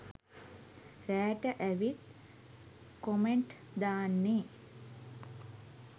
රෑට ඇවිත් කොමෙන්ට් දාන්නේ?